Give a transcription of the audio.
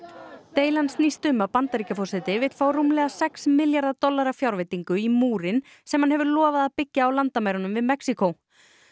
deilan snýst um að Bandaríkjaforseti vill fá rúmlega sex milljarðar dollara fjárveitingu í múrinn sem hann hefur lofað að byggja á landamærunum við Mexíkó